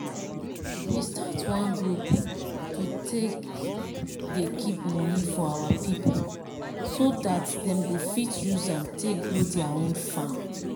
we start one group to take dey keep money for our people so dat dem go fit use am take grow dia own farm.